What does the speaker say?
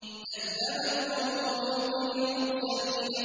كَذَّبَتْ قَوْمُ لُوطٍ الْمُرْسَلِينَ